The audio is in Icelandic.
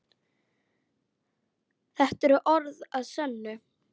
Þetta eru orð að sönnu.